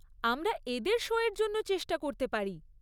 আমরা এদের শো এর জন্য চেষ্টা করতে পারি।